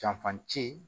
Janfan ci